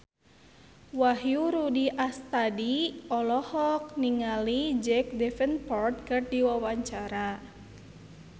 Wahyu Rudi Astadi olohok ningali Jack Davenport keur diwawancara